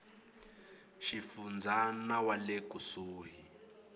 xifundza na wa le kusuhi